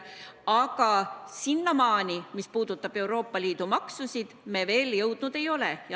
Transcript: Aga sinnamaani, mis puudutab Euroopa Liidu maksusid, me veel jõudnud ei ole.